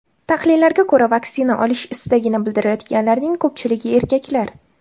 Tahlillarga ko‘ra, vaksina olish istagini bildirayotganlarning ko‘pchiligi erkaklar.